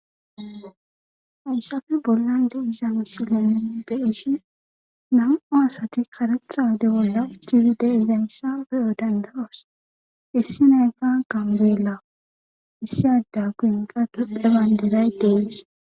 Hayssape bollan deiza misilen beishin nam7u asati karetha oyde bolla uthizayssa beyo dandawos issi nayka gambela issi ada guyenka tuphe banderay dees.